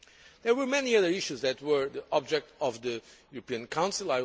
There were many other issues that were the object of the European Council.